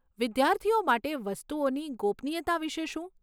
વિદ્યાર્થીઓ માટે વસ્તુઓની ગોપનીયતા વિશે શું?